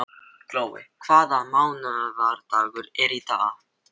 Glói, hvaða mánaðardagur er í dag?